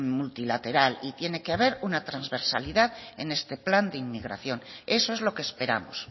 multilateral y tiene que ver una transversalidad en este plan de inmigración eso es lo que esperamos